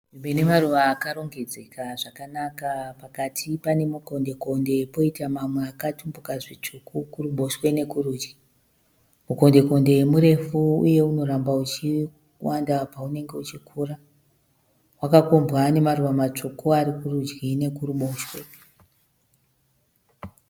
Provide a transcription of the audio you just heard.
Nzvimbo inemaruva akarongedzeka zvakanaka. Pakati pane mukondekonde poita mamwe akatumbika zvitsvuku kurudyi nekuruboshe. Mukondekonde murefu uye unoramba uchiwanda paunenge uchikura. Mukondekonde uyu wakakombwa nemaruva akawanda kurudyi nekuruboshe.